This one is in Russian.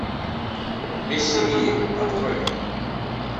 без семьи открой мне